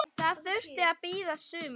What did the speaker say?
Það þurfti að bíða sumars.